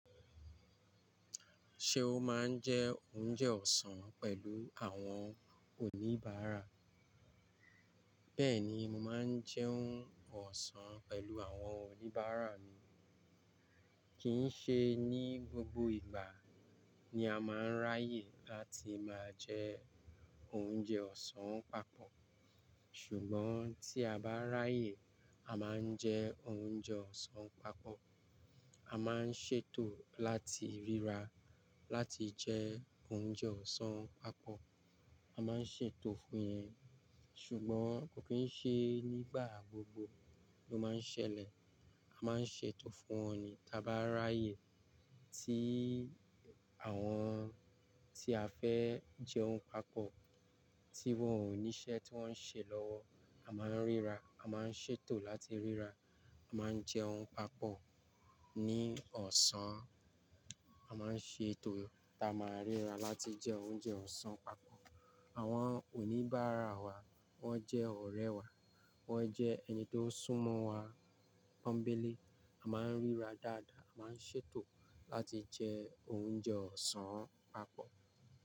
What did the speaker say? Ṣé o máa ń jẹ oúnjẹ ọ̀sán pẹ̀lú àwọn oníbàárà? Bẹ́ẹ̀ni, mo máa ń jẹún ọ̀sán pẹ̀lú àwọn oníbàárà mi. Kì í ṣe ní gbogbo ìgbà ni a máa ń ráyè láti máa jẹ oúnjẹ ọ̀sán papọ̀. Ṣùgbọ́n tí a bá ráyè, a máa ń jẹ oúnjẹ ọ̀sán papọ̀. A máa ń ṣètò láti ríra láti jẹ oúnjẹ ọ̀sán papọ̀. A máa ń ṣètò fún yẹn. Ṣùgbọ́n kò kí n ṣe nígbà gbogbo ló máa ń ṣẹlẹ̀. A máa ń ṣètò fún wọn ni táa bá ráyè tí àwọn tí a fẹ́ jẹun papọ̀ tí wọ́n ò ní iṣẹ́ tí wọ́n ń ṣe lọ́wọ́. A máa ń ríra, a máa ń ṣètò láti ríra. A máa ń jẹ oúnjẹ papọ̀ ní ọ̀sán. A máa ń ṣètò táa máa ríra láti jẹ oúnjẹ ọ̀sán papọ̀. Àwọn oníbàárà wa, wọ́n jẹ́ ọ̀rẹ́ wa. Wọ́n jẹ́ ẹni tó sún mọ́ wa ponbele. A máa ń ríra dáadáa, a máa ń ṣètò láti jẹ oúnjẹ ọ̀sán papọ̀